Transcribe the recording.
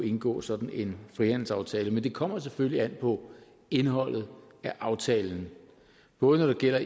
indgået sådan en frihandelsaftale men det kommer selvfølgelig an på indholdet af aftalen både når det gælder